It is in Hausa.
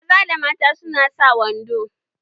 Maza da mata su na sa wando